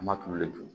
An m'a tulo le dun